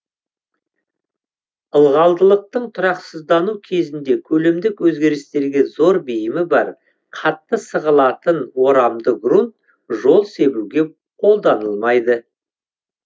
ылғалдылықтың тұрақсыздану кезінде көлемдік өзгерістерге зор бейімі бар қатты сығылатын орамды грунт жол себуге қолданылмайды